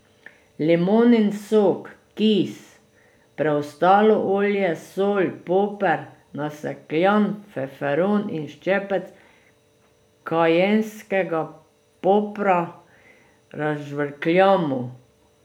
Limonin sok, kis, preostalo olje, sol, poper, nasekljan feferon in ščepec kajenskega popra razžvrkljamo.